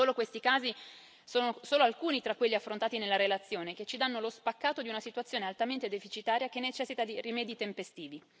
Questi casi sono solo alcuni tra quelli affrontati nella relazione, che ci danno lo spaccato di una situazione altamente deficitaria che necessita di rimedi tempestivi.